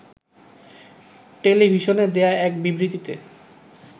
টেলিভিশনে দেয়া এক বিবৃতিতে